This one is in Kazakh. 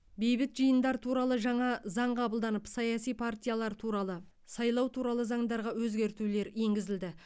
бейбіт жиындар туралы жаңа заң қабылданып саяси партиялар туралы сайлау туралы заңдарға өзгертулер енгізілді